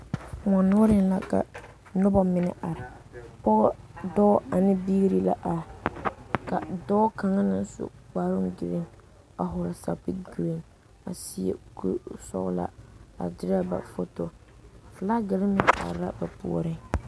Koɔ noɔreŋ la ka noba mine are, pɔge, dɔɔ ane biiri la are ka dɔɔ kaŋa naŋ su kpare vaare a vɔgeli zupili vaare a seɛ kur sɔglaa , a derɛ ba photo flagire are la ba puoriŋ.